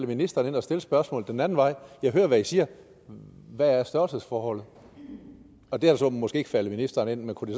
ministeren ind at stille spørgsmålet den anden vej jeg hører hvad i siger hvad er størrelsesforholdet det er så måske ikke faldet ministeren ind men kunne